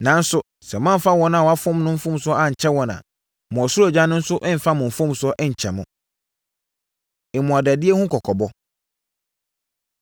Nanso, sɛ moamfa wɔn a wɔfom mo mfomsoɔ ankyɛ wɔn a, mo ɔsoro Agya no nso remfa mo mfomsoɔ nkyɛ mo.” Mmuadadie Ho Kɔkɔbɔ